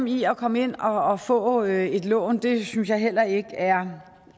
i at komme ind og og få et lån det synes jeg heller ikke er